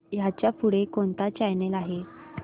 ह्याच्या पुढे कोणता चॅनल आहे